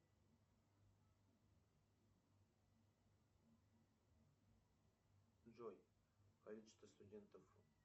джой количество студентов